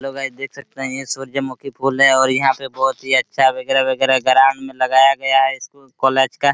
hello guys देख सकते है ये सूर्यमुखी फूल है और यहां पे बहुत ही अच्छा वगैरा वगैरा ग्राम में लगाया गया है स्कूल कॉलेज का --